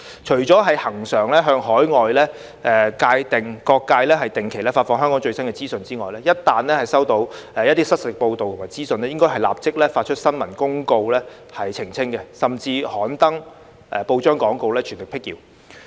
除了恆常向海外各界定期發放香港最新的資訊之外，一旦收到失實報道及資訊，應該立即發出新聞公報澄清，甚至刊登報章廣告，全力闢謠。